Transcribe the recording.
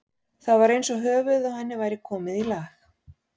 Það var eins og höfuðið á henni væri komið í lag.